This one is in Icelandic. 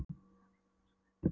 Við fórum í Austurbæjarbíó að sjá